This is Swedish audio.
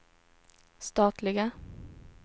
statliga